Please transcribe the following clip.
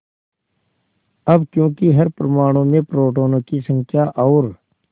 अब क्योंकि हर परमाणु में प्रोटोनों की संख्या और